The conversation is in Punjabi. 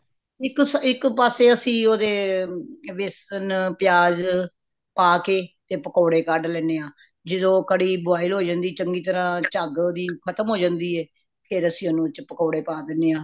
ਇੱਕ ਪਾਸੇ ਅੱਸੀ ਓਹਦੇ ਬੇਸਨ ਪਿਆਜ ਪਾਕੇ ਤੇ ਪਕੌੜੇ ਕੱਢ ਲੈਣੇ ਹਾ ਜਦੋ ਕੜੀ boil ਹੋਜਾਂਦੀ ਚੰਗੀ ਤਰਾਂ ਚੱਘ ਓਹਦੀ ਖਤਮ ਹੋ ਜਾਂਦੀ ਤੇ ਫੇਰ ਅੱਸੀ ਉਦੇ ਵਿੱਚ ਪਕੌੜੇ ਪਾ ਦੇਣੇ ਹਾ